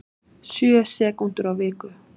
Sjö sekúndur á viku